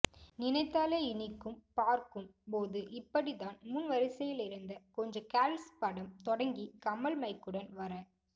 நினைத்தாலே இனிக்கும் பார்க்கும் போது இப்படித்தான் முன் வரிசையில் இருந்த கொஞ்ச கேர்ல்ஸ் படம் தொடங்கி கமல் மைக்குடன் வர